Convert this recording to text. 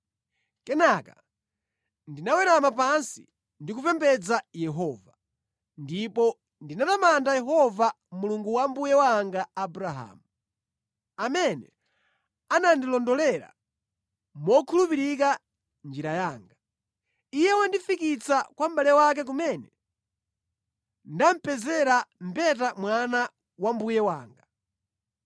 kenaka ndinawerama pansi ndi kupembedza Yehova. Ndipo ndinatamanda Yehova, Mulungu wa mbuye wanga Abrahamu, amene anandilondolera mokhulupirika njira yanga. Iye wandifikitsa kwa mʼbale wake kumene ndapezera mbeta mwana wa mbuye wanga.